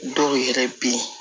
Dɔw yɛrɛ bɛ yen